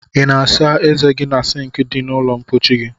I na asa eze gi na sink di na ulo mpochi gi?